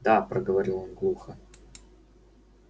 да проговорил он глухо